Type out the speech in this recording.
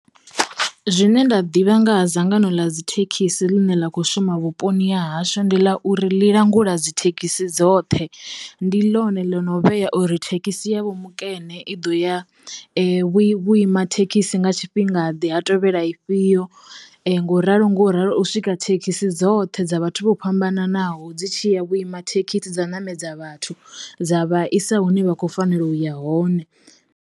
Zwine nda ḓivha nga ha dzangano ḽa dzi thekhisi ḽine ḽa kho shuma vhuponi ha hashu ndi ḽa uri ḽi langula dzi thekhisi dzoṱhe, ndi ḽone ḽo no vhea uri thekhisi yavho mikene i ḓo ya vhu vhu ima thekhisi nga tshifhinga ḓe ha tovhela ifhio ngo ralo ngo ralo u swika thekhisi dzoṱhe dza vhathu vho fhambananaho dzi tshiya vhuima thekhisi dza namedza vhathu dza vhaisa hune vha kho fanela uya hone.